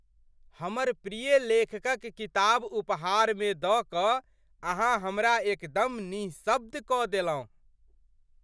हमर प्रिय लेखकक किताब उपहारमे दऽ कऽ अहाँ हमरा एकदम निःशब्द कऽ देलहुँ।